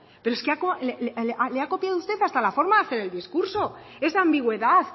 pero es que le ha copiado usted hasta la forma de hacer el discurso esa ambigüedad